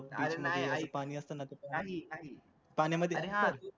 अरे नाही ऐक अरे हा